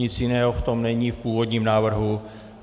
Nic jiného v tom není v původním návrhu.